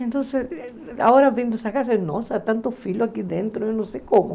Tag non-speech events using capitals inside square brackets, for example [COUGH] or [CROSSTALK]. Então, agora vendo essa casa, nossa, há tanto [UNINTELLIGIBLE] aqui dentro, eu não sei como.